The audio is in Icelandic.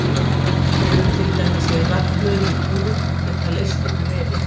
Þau eru til dæmis í rafhlöðum í úrum og geta leyst upp vefi.